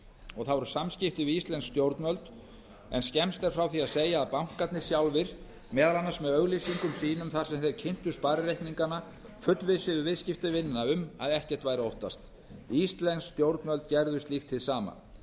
og það voru samskipti við íslensk stjórnvöld en skemmst er frá því að segja að bankarnir sjálfir meðal annars með auglýsingum sínum þar sem þeir kynntu sparireikningana fullvissuðu viðskiptavinina um að ekkert væri að óttast íslensk stjórnvöld gerðu slíkt hið sama